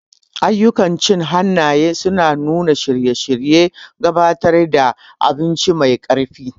Ayyukan cin hannaye suna nuna shirye-shiryen gabatar da abinci mai ƙarfi.